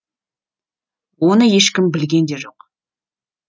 оны ешкім білген де жоқ